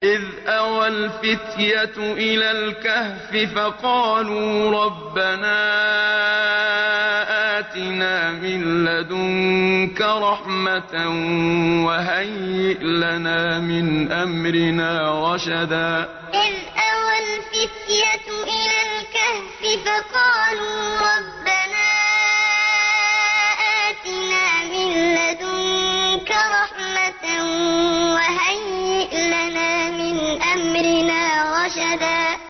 إِذْ أَوَى الْفِتْيَةُ إِلَى الْكَهْفِ فَقَالُوا رَبَّنَا آتِنَا مِن لَّدُنكَ رَحْمَةً وَهَيِّئْ لَنَا مِنْ أَمْرِنَا رَشَدًا إِذْ أَوَى الْفِتْيَةُ إِلَى الْكَهْفِ فَقَالُوا رَبَّنَا آتِنَا مِن لَّدُنكَ رَحْمَةً وَهَيِّئْ لَنَا مِنْ أَمْرِنَا رَشَدًا